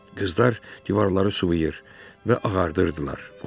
Qızlar divarları sıvıyır və ağardırdılar.